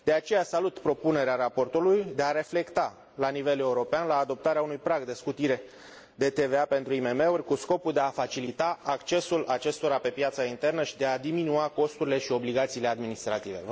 De aceea salut propunerea raportorului de a se reflecta, la nivel european, la adoptarea unui prag de scutire de TVA pentru IMM uri, cu scopul de a facilita accesul acestora la piața internă și de a diminua costurile și obligațiile administrative.